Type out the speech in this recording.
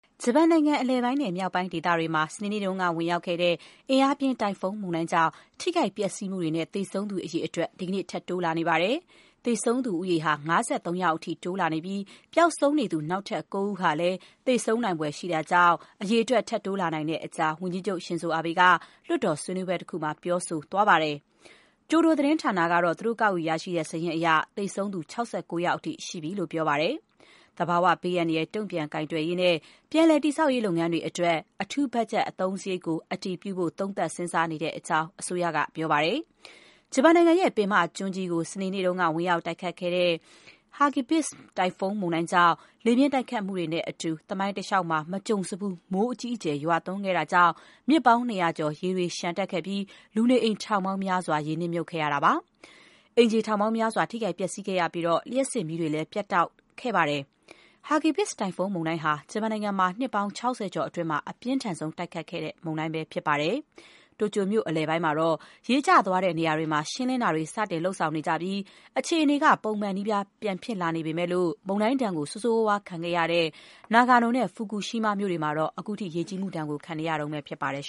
ဂျပန်နိုင်ငံ အလယ်ပိုင်းနဲ့ မြောက်ပိုင်းဒေသတွေမှာ စနေနေ့ကဝင်ရောက်ခဲ့တဲ့ အင်အားပြင်းတိုင်ဖွန်းမုန်တိုင်းကြောင့် ထိခိုက်ပျက်စီးမှုတွေနဲ့ သေဆုံးသူ အရေအတွက် ဒီကနေ့ ထပ် တိုးလာနေပါတယ်။ သေဆုံးသူဦးရေ ၅၃ ယောက်အထိ တိုးလာနေပြီး ပျောက်ဆုံးနေသူ နောက်ထပ် ကိုး ဦးဟာလည်း သေဆုံးနိုင်ဖွယ်ရှိတာကြောင့် သေဆုံးအရေအတွက် ထပ်တိုးလာနိုင်တဲ့အကြောင်း ဝန်ကြီးချုပ် Shinzo Abe က လွှတ်တော် ဆွေးနွေးပွဲတခုမှာ ပြောဆိုသွားပါတယ်။ ကျိုဒို သတင်းဌာနကတော့ သူတို့ကောက်ယူရရှိတဲ့စာရင်းအရ သေဆုံးသူ ၆၉ ယောက်အထိ ရှိကြောင်း ပြောပါတယ်။ သဘာဝဘေးအန္တရာယ် တုံ့ပြန်ကိုင်တွယ်ရေးနဲ့ ပြန်လည် တည်ဆောက်ရေး လုပ်ငန်းတွေ အတွက် အထူး ဘတ်ဂျက်အသုံးစရိတ်ကို အတည်ပြဖို့ သုံးသပ် စဉ်းစားနေတဲ့အကြောင်း အစိုးရက ပြောပါတယ်။ ဂျပန်နိုင်ရဲ့ ပင်မကျွန်းကြီးကို စနေနေ့က ဝင်ရောက်တိုက်ခတ်ခဲ့တဲ့ Hagibis တိုင်ဖွန်းမုန်တိုင်းကြောင့် လေပြင်းတိုက်ခတ်မှုတွေနဲ့အတူ သမိုင်းတလျှောက် မကြုံစဖူး မိုးအကြီးအကျယ် ရွာသွန်းခဲ့တာကြောင့် မြစ်ပေါင်း ၂၀၀ ကျော် ရေတွေ လျှံတက်ခဲ့ပြီး လူနေအိမ် ထောင်ပေါင်းများစွာ ရေမြှုပ်ခဲ့ရပါတယ်။ အိမ်ခြေထောင်ပေါင်းများစွာ ထိခိုက်ပျက်စီးခဲ့ရပြီး လျှပ်စစ်မီးတွေလည်း ပျက်တောက်သွားခဲ့ရပါတယ်။ Hagibis တိုင်ဖွန်းမုန်တိုင်းဟာ ဂျပန်နိုင်ငံမှာ နှစ်ပေါင်း ၆၀ ကျော်အတွင်း အပြင်းထန်ဆုံး တိုက်ခတ်ခဲ့တဲ့ မုန်တိုင်းပဲဖြစ်ပါတယ်။ တိုကျိုမြို့ အလယ်ပိုင်းမှာတော့ ရေကျသွားတဲ့နေရာတွေမှာ ရှင်းလင်းတာတွေ လုပ်နေကြပြီး အခြေအနေက ပုံမှန်နီးပါး ပြန်ဖြစ်လာနေပေမဲ့၊ မုန်တိုင်းဒဏ် ဆိုးဆိုးရွားရွား ခံခဲ့ရတဲ့ Nagano နဲ့ Fukushima မြို့တွေမှာတော့ ခုထိ ရေကြီးမှုဒဏ် ခံနေရဆဲပဲ ဖြစ်ပါတယ်။